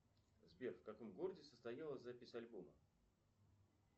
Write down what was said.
сбер в каком городе состоялась запись альбома